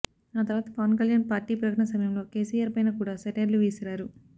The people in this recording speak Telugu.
ఆ తర్వాత పవన్ కళ్యాణ్ పార్టీ ప్రకటన సమయంలో కెసిఆర్ పైన కూడా సెటైర్లు విసిరారు